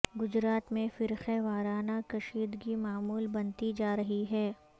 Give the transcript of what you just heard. گجرات میں فرقہ وارانہ کشیدگی معمول بنتی جا رہی ہے